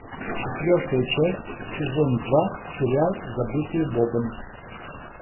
четвертая часть сезон два сериал забытые богом